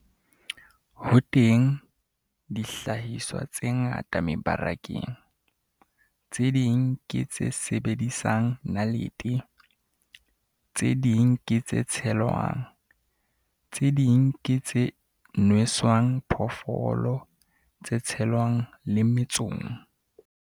Ho teng dihlahiswa tse ngata mebarakeng - tse ding ke tse sebedisang nalete, tse ding ke tse tshelwang, tse ding ke tse nweswang phoofolo, tse tshelwang le mmetsong.